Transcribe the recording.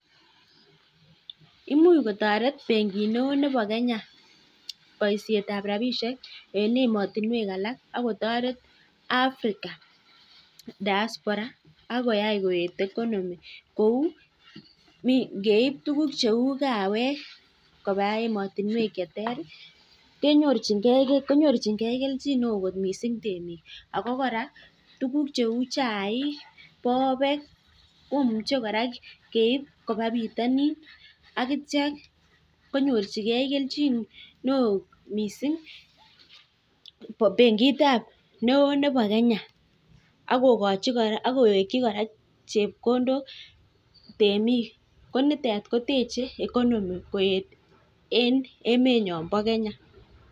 Imuch kotoret benkit neoo neboo kenya baishet ab rabishek eng ematinwek alak kouu ngeib tuguk cheu kawek kobaa ematinwek ab sang kenyornjikee keljin neoo benkit neboo kenyaa netechee (economy) koet eng emet nyoo boo kenya